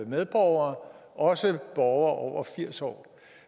medborgere også af borgere over firs år